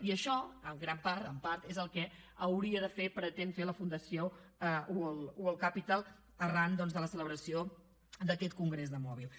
i això en gran part en part és el que hauria de fer pretén fer la fundació mobile world capital arran de la celebració d’aquest congrés de mòbils